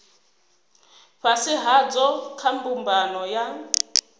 fhasi hadzo kha mbumbano ya